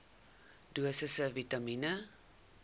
dosisse vitamien